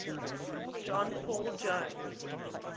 john paul jones